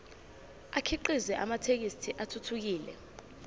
akhiqize amathekisthi athuthukile